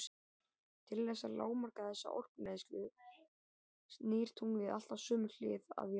Til þess að lágmarka þessa orkueyðslu snýr tunglið alltaf sömu hlið að jörðinni.